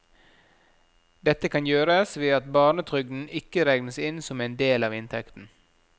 Dette kan gjøres ved at barnetrygden ikke regnes inn som en del av inntekten.